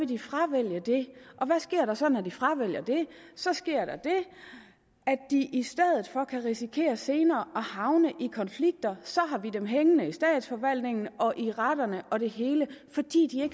de fravælge det og hvad sker der så når de fravælger det så sker der det at de i stedet for kan risikere senere at havne i konflikter så har vi dem hængende i statsforvaltningen og i retterne og det hele fordi de